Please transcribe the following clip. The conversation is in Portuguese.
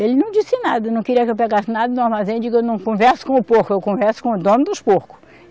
Ele não disse nada, não queria que eu pegasse nada do armazém eu digo, eu não converso com o porco, eu converso com o dono dos porcos.